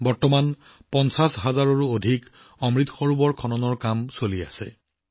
বৰ্তমান সময়ত ৫০ হাজাৰৰো অধিক অমৃত বিল নিৰ্মাণৰ কাম চলি আছে